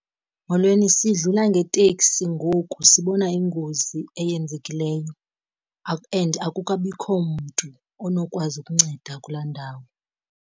Molweni, sidlula ngeteksi ngoku sibona ingozi eyenzekileyo and akukabikho mntu onokwazi ukunceda kulaa ndawo.